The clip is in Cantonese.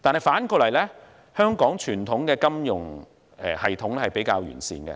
反過來說，香港傳統的金融系統比較完善。